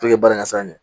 Puke baara in san